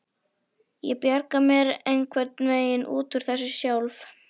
Ég bjarga mér einhvern veginn út úr þessu sjálf.